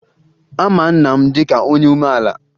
A ma nna m dịka onye umeala